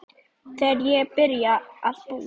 Þegar ég byrjaði að búa.